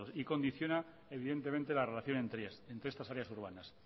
y condiciona evidentemente la relación entre estas áreas urbanas